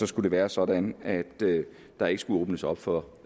skulle være sådan at der ikke skulle åbnes op for